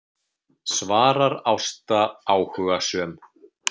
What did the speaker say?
svarar Ásta áhugasöm.